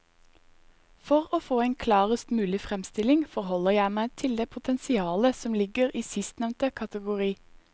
For å få en klarest mulig fremstilling forholder jeg meg til det potensialet som ligger i sistnevnte kategori.